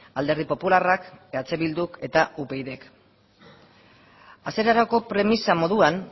alderdi popularrak eh bilduk eta upydk hasierarako premisa moduan